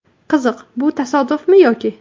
Qiziq, bu tasodifmi yoki...?